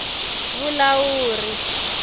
vulawuri